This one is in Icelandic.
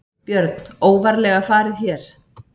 Björn: Óvarlega farið hér?